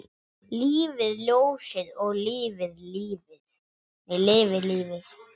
Lifi ljósið og lifi lífið!